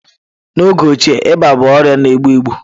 N'oge ochie ịba bụ ọrịa na-egbu egbu